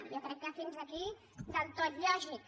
jo crec que fins aquí del tot lògic